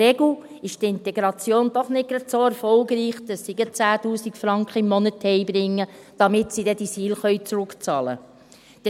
Zudem ist die Integration in der Regel doch nicht gerade so erfolgreich, dass sie 10’000 Franken im Monat nach Hause bringen, damit sie dann diese SIL zurückzahlen können.